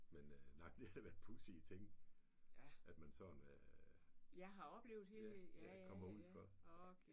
Men øh nej men det er da pudsige ting at man sådan ja ja kommer ud for